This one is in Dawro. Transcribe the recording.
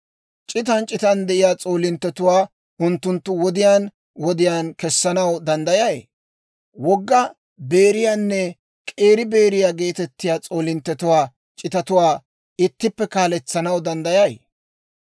C'itan c'itan de'iyaa s'oolinttetuwaa unttunttu wodiyaan wodiyaan kessanaw danddayay? Wogga Beeriyaanne K'eeri Beeriyaa geetettiyaa s'oolinttetuwaa c'itatuwaa ittippe kaaletsanaw danddayay?